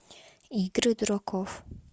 игры дураков